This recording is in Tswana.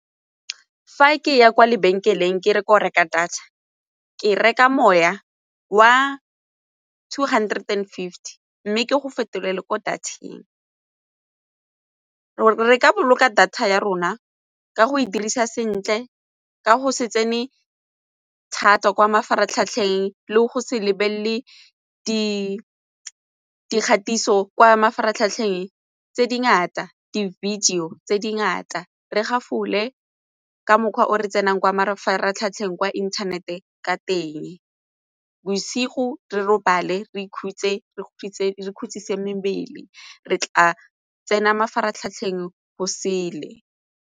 Fa ke ya kwa lebenkeleng ke re ko reka data ke reka moya wa two hundred and fifty mme ke go fetolela ko data-eng. Re ka boloka data ya rona ka go e dirisa sentle ka go se tsene thata kwa mafaratlhatlheng le go se lebelele di dikgatiso kwa mafaratlhatlheng tse dingata di-video tse dingata re gafole ka mokgwa o re tsenang kwa mafaratlhatlheng kwa inthanete ka teng, bosigo re robale re ikhutse, re ntse re ikhutsise mebele re tla tsena mafaratlhatlheng go sele.